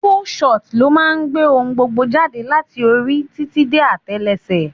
Full shot ló máa ń gbé ohun gbogbo jáde láti orí títí dé atelese.